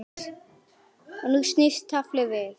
Og nú snýst taflið við.